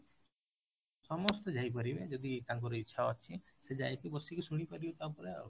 ସମସ୍ତେ ଯାଇପାରିବେ ଯଦି ତାଙ୍କର ଇଚ୍ଛା ଅଛି ସେ ଯାଇକି ବସିକି ଶୁଣିପାରିବେ ତା ଉପରେ ଆଉ